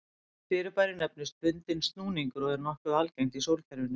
Þetta fyrirbæri nefnist bundinn snúningur og er nokkuð algengt í sólkerfinu.